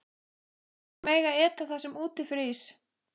Þær mega eta það sem úti frýs!